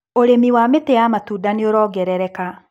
ũrĩmi wa mĩti ya matunda nĩũrongerereka.